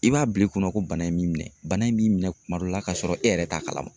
I b'a bila i kunna ko bana in b'i minɛ bana in b'i minɛ kuma dɔ la ka sɔrɔ e yɛrɛ t'a kalama.